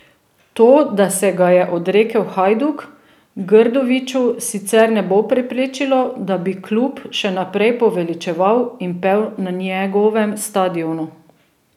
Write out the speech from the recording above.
To, da se ga je odrekel Hajduk, Grdoviću sicer ne bo preprečilo, da bi klub še naprej poveličeval in pel na njegovem stadionu.